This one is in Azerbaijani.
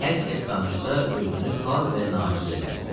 hər kəs danışsa, özünü xar və naciz edər.